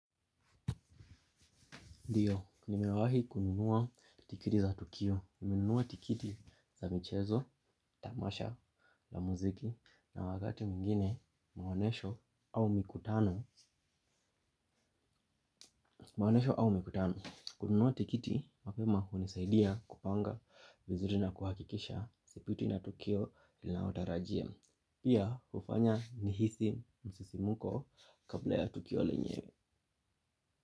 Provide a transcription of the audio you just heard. Ndiyo, nimewahi kununua tikiti za tukio, nilinunua tikiti za michezo, tamasha, la muziki, na wakati mingine mawanesho au mikutano. Kununua tikiti, mapema unisaidia kupanga vizuri na kuhakikisha sipitwi na tukio ninalotarajia. Pia ufanya nihisi msisimuko kabla ya tukio lenyewe.